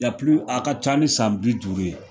a ka ca ni san bi duuru ye